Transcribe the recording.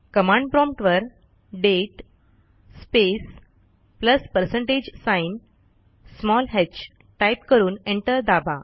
command promptवर date space plus percentage sign hटाईप करून एंटर दाबा